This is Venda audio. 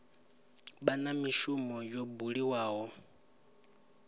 vha na mishumo yo buliwaho